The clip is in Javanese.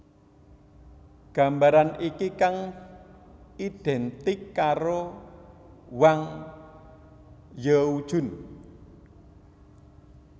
Gambaran iki kang identik karo Wang Zhaojun